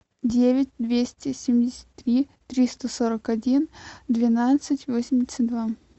девять двести семьдесят три триста сорок один двенадцать восемьдесят два